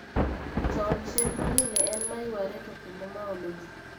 Chon chendro ni ne en maywaare to kendo maolo jii